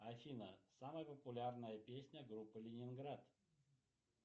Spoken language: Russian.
афина самая популярная песня группы ленинград